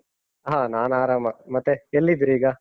ಹ. ನಾನ್ ಆರಾಮ. ಮತ್ತೆ ಎಲ್ಲಿದ್ದೀರೀಗ?